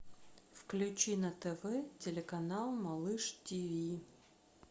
включи на тв телеканал малыш тиви